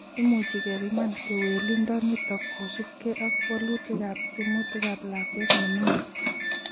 Imuchi kepiman kewelindo nitok kosubkei ak wolutikab tyemutikab lakwet neming'in